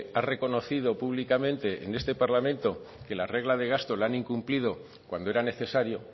ha reconocido públicamente en este parlamento que la regla de gasta la han incumplido cuando era necesario